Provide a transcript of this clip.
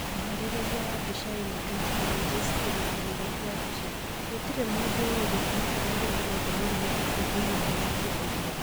Mũharĩrĩria wa mbica ĩno, Getty Images Kĩrĩkanĩro kĩa mbica, Gũtirĩ mũndũ ũĩ gĩtũmi kĩrĩa gĩtũmĩte mũrimũ ũcio ũnyihanyihie ũguo.